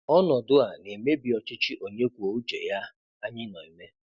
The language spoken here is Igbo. Ọnọdụ a na-ebibi ọchịchị onye kwuo uche ya anyị na-eme.